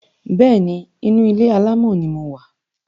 Bẹ́ẹ̀ni, inu ilé-àlámọ̀ ni mo wà